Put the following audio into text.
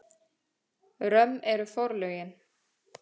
Römm eru forlögin.